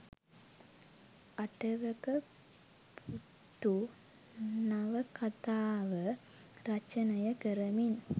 අටවක පුත්තු නවකතාව රචනය කරමින්